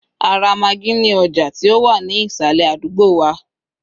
a ra Maggi ní ọjà ti o wa ni isale àdúgbò wa